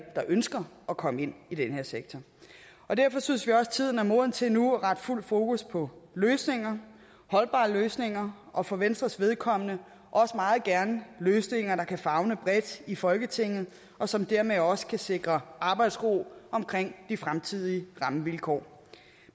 der ønsker at komme ind i den her sektor derfor synes vi også at tiden er moden til nu at rette fuld fokus på holdbare løsninger og for venstres vedkommende også meget gerne løsninger der kan favne bredt i folketinget og som dermed også kan sikre arbejdsro om de fremtidige rammevilkår